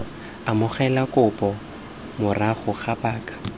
amogela kopo morago ga paka